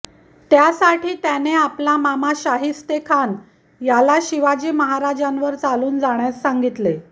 त्यासाठी त्याने आपला मामा शाहिस्तेखान याला शिवाजी महाराजांवर चालून जाण्यास सांगितले